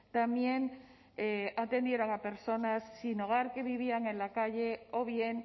también atendieron a personas sin hogar que vivían en la calle o bien